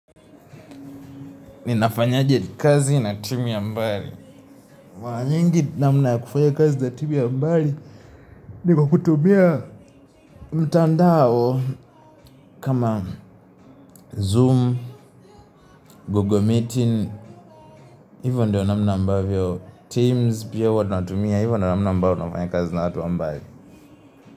Ninafanyaje ya kazi na timu ya mbali. Mwa nyingi namna ya kufanya kazi na timu ya mbali ni kwa kutumia mtandao kama Zoom, Google Meetings, hivo ndio namna ambavyo. Teams pia wanatumia, hivo namna ambavo nafanya kazi na watu wa mbali.